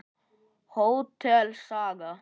Hótel Saga.